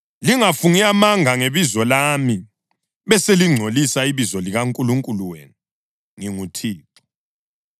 Lingafungi amanga ngebizo lami, beselingcolisa ibizo likaNkulunkulu wenu. NginguThixo.